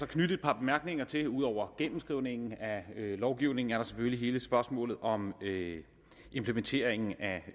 knytte et par bemærkninger til det ud over gennemskrivningen af lovgivningen er der selvfølgelig hele spørgsmålet om implementering af